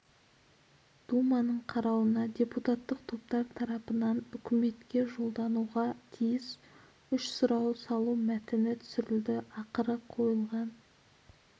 думаның қарауына депутаттық топтар тараптарынан үкіметке жолдануға тиіс үш сұрау салу мәтіні түсірілді ақыры қойылған